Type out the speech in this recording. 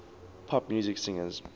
pop music singers